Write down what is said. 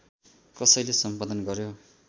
कसैले सम्पादन गर्‍यो